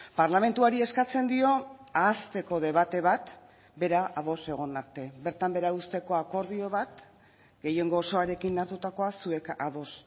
parlamentuari eskatzen dio ahazteko debate bat bera ados egon arte bertan bera uzteko akordio bat gehiengo osoarekin hartutakoa zuek ados